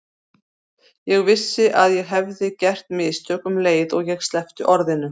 Ég vissi að ég hefði gert mistök um leið og ég sleppti orðinu.